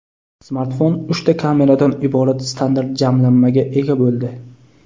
Smartfon uchta kameradan iborat standart jamlanmaga ega bo‘ldi.